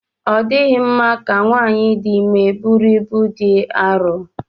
Ọ dịghị mma ka nwanyị dị ime búrú ịbú dị arọ